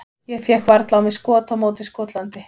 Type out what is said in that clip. Ég fékk varla á mig skot á móti Skotlandi.